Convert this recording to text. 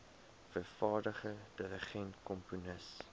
vervaardiger dirigent komponis